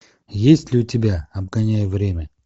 есть ли у тебя обгоняя время